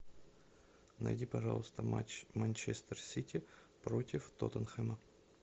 найди пожалуйста матч манчестер сити против тоттенхэма